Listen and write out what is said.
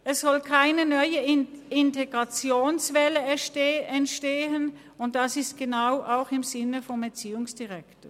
Es soll keine neue Integrationswelle entstehen, und genau dies ist auch im Sinne des Erziehungsdirektors.